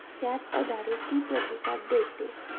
त्याच आधारीत ती प्रतिसाद देते.